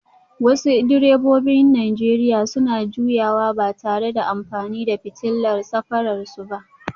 Wasu direbobin Najeriya suna juyawa ba tare da amfani da fitilar safararsu ba